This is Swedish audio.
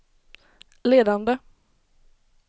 ledande